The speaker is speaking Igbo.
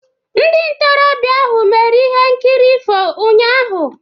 Ndị ntorobịa ahụ mere ihe nkiri ifo ụnyahụ.